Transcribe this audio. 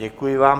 Děkuji vám.